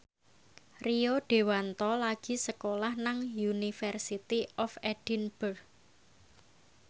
Rio Dewanto lagi sekolah nang University of Edinburgh